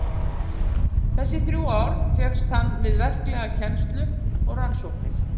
Þessi þrjú ár fékkst hann við verklega kennslu og rannsóknir.